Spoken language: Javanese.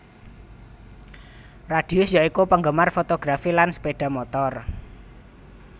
Radius ya iku penggemar fotografi lan sepeda motor